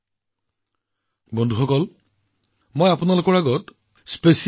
বন্ধুসকল বিশেষ অলিম্পিক বিশ্ব গ্ৰীষ্মকালীন ক্ৰীড়াৰ প্ৰতিও আপোনালোকৰ দৃষ্টি আকৰ্ষণ কৰিব বিচাৰিছো